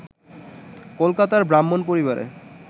কলকাতার ব্রাহ্মণ পরিবারে